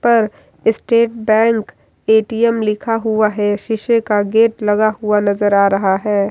पर state bank ATM. लिखा हुआ है शीशे का गेट लगा हुआ नजर आ रहा है।